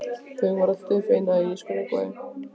Þau voru öll dauðfegin að ég skrökvaði.